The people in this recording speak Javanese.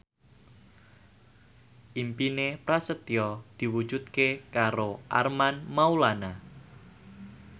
impine Prasetyo diwujudke karo Armand Maulana